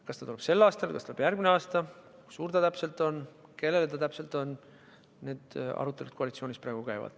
Kas see tuleb sel aastal, kas see tuleb järgmisel aastal, kui suur see summa täpselt on, kellele see täpselt suunatud on – need arutelud koalitsioonis praegu käivad.